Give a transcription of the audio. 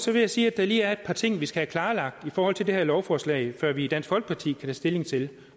vil jeg sige at der lige er et par ting vi skal have klarlagt i forhold til det lovforslag før vi i dansk folkeparti tage stilling til